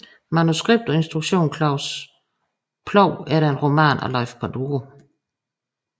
Manuskript og instruktion Claus Ploug efter en roman af Leif Panduro